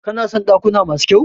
Kana son dakuna masu kyau?